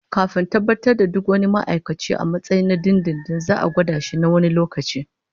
Kafin tabbatar da duk wani ma'aikaci a matsayin na dindindin, za'a gwada shi na wani lokaci